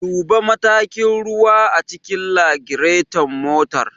Duba matakin ruwa a cikin lagiraton motar.